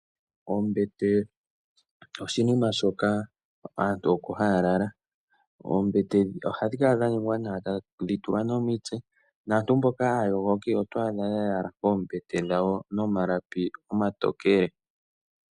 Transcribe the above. Ombete oshinima shoka aantu oko haya lala. Oombete ohadhi kala dha ningwa nawa tadhi tulwa nomitse. Naantu mboka aayogoki otwa adha ya yala koombete dhawo nomalapi omatokele.